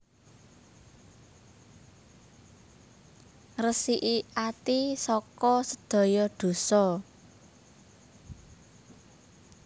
Ngresiki ati saka sedaya dosa